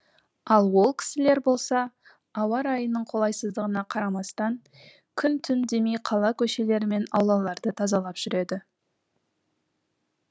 ал ол кісілер болса ауа райының қолайсыздығына қарамастан күн түн демей қала көшелері мен аулаларды тазалап жүреді